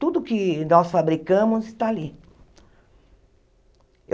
Tudo que nós fabricamos está ali.